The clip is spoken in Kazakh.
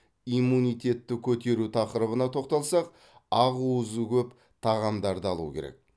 иммунитетті көтеру тақырыбына тоқталсақ ақуызы көп тағамдарды алу керек